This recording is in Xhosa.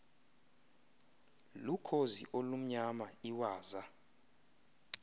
lukhozi olumnyama iwaza